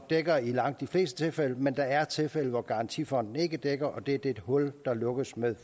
dækker i langt de fleste tilfælde men der er tilfælde hvor garantifonden ikke dækker og det er det hul der lukkes med